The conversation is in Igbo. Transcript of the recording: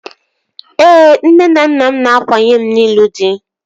Ee, nne na nna m na-akwanye m n'ịlụ dị